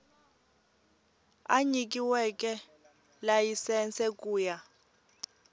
a nyikiweke layisense ku ya